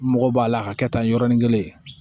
N mago b'a la k'a kɛ tan yɔrɔnin kelen